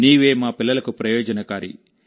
నీవే మా పిల్లలకు ప్రయోజనకారి